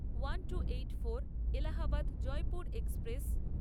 one two eight four Allahabad Jaipur express